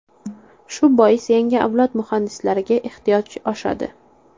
Shu bois yangi avlod muhandislariga ehtiyoj oshadi.